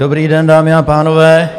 Dobrý den, dámy a pánové.